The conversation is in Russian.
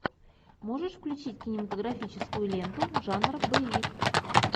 можешь включить кинематографическую ленту жанра боевик